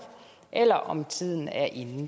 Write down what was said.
eller om tiden er inde